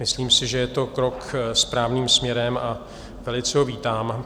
Myslím si, že je to krok správným směrem´, a velice ho vítám.